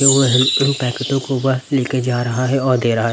लेकर जा रहा हैं और दे रहा हैं।